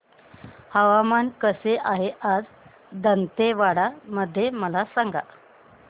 हवामान कसे आहे आज दांतेवाडा मध्ये मला सांगा